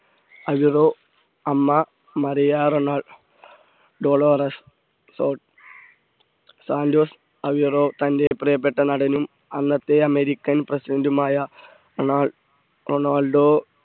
അമ്മ മറിയാ റൊണാൾ Dolores Santos Aveiro തൻറെ പ്രിയപ്പെട്ട നടനും അന്നത്തെ അമേരിക്കൻ പ്രസിഡന്റുമായ റൊണാൾഡ് റൊണാൾഡോ